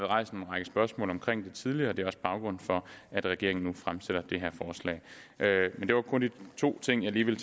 rejst en række spørgsmål om det tidligere og det er også baggrunden for at regeringen nu fremsætter det her forslag det var kun de to ting jeg lige ville